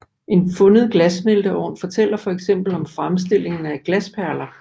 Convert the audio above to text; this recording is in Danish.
En fundet glassmelteovn fortæller for eksempel om fremstillingen af glasperler